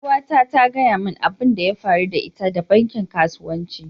yaruwa na ta gaya min abin da ya faru da ita da bankin kasuwanci.